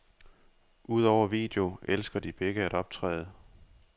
Udover video elsker de begge at optræde.